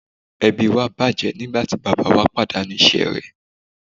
Ẹbí wa bàjẹ́ nígbà tí bàbáa wa pàdánù iṣẹ́ rẹ̀.